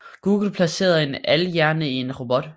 Google placerede en AI hjerne i en robot